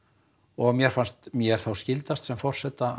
og mér fannst mér þá skyldast sem forseta